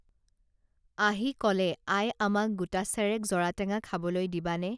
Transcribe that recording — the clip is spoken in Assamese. আহি কলে আই আমাক গোটাচেৰেক জৰাটেঙা খাবলৈ দিবানে